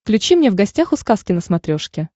включи мне в гостях у сказки на смотрешке